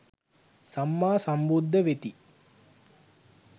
සම්මා සම්බුද්ධ වෙති.